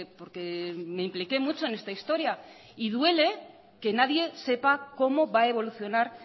porque me impliqué mucho en esta historia y duele que nadie sepa cómo va evolucionar